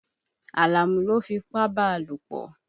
Àlàmú ló fipá bá a lópọ̀.